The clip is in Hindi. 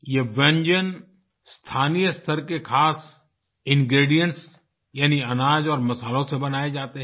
यह व्यंजन स्थानीय स्तर के ख़ास इंग्रीडिएंट्स यानी अनाज और मसालों से बनाए जाते हैं